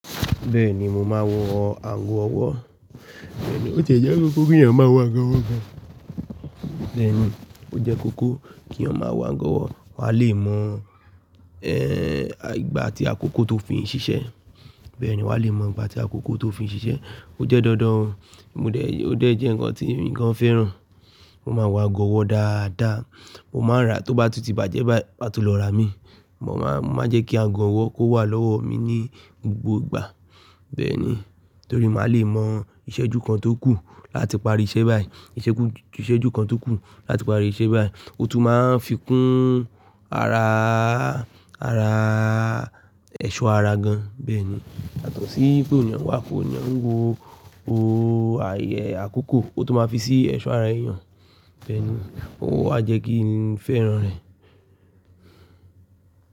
Bẹ́ẹ̀ni mo máa wọ agọ̀ ọwọ́. Bẹ́ẹ̀ni ó ti jẹ́ kókó kí ènìyàn máa wọ agọ̀ ọwọ́ gan. Bẹ́ẹ̀ni ó jẹ́ kókó kí èèyàn máa wọ agọ̀ ọwọ́, wà a lè mọ, ẹ́, ìgbà atí àkókò tó fi ń ṣiṣẹ́. Bẹ́ẹ̀ni wà a lè mọ ìgbà tí àkókò tó fi ń ṣiṣẹ́. Ó jẹ́ dandan o, mo dẹ̀, ó dẹ̀ jẹ́ ǹkan tí emi gan fẹ́ràn. Mo máa wọ agọ̀ ọwọ́ dáadáa, mo máa n ra tó bá tuti bá jẹ́ bá yi, má tú lọ rà mí. Mo máa, mo máa n jẹ́ kí agọ̀ ọwọ́ kó wà lọ́wọ́ mi ní gbogbo ìgbà. Bẹ́ẹ̀ni torí mà a lè mọ ìṣẹ́jú kan tó kù láti parí iṣẹ́ báyìí, ìṣẹ́jú, ìṣẹ́jú kan tó kù láti parí iṣẹ́ báyìí. Ó tún máa ń fikún ara a, ara a, ẹ̀ṣọ́ ara gan. Bẹ́ẹ̀ni, yàtọ sí pé ènìyàn wà kò ní ouń wo òó ayẹ àkókò, ó tún máa fi sí ẹ̀ṣọ́ ara èèyàn. Bẹ́ẹ̀ni ó wà jẹ́ kí n fẹ́ràn rẹ̀